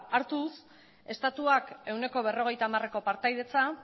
hartuz estatuak ehuneko berrogeita hamareko partaidetza